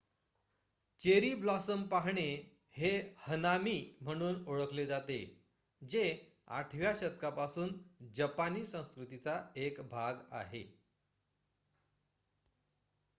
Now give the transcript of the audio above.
cherry blossom पाहणे हे हनामी म्हणून ओळखले जाते जे 8 व्या शतकापासून जपानी संस्कृतीचा एक भाग आहे